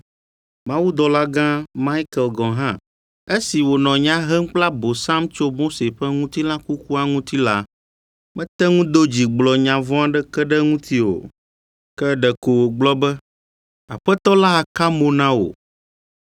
Mawudɔlagã Maikel gɔ̃ hã, esi wònɔ nya hem kple Abosam tso Mose ƒe ŋutilã kukua ŋuti la, mete ŋu do dzi gblɔ nya vɔ̃ aɖeke ɖe eŋuti o, ke ɖeko wògblɔ be, “Aƒetɔ la aka mo na wò!”